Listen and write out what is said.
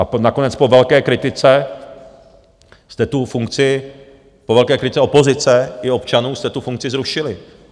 A nakonec po velké kritice jste tu funkci, po velké kritice opozice i občanů jste tu funkci zrušili.